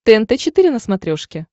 тнт четыре на смотрешке